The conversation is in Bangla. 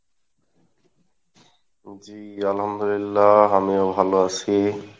জি আলহামদুলিল্লাহ আমিও ভালো আসি।